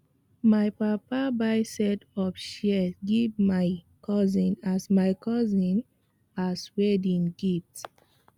my papa buy set of shears give my cousin as my cousin as wedding gift